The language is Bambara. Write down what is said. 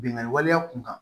Bingani wale kun kan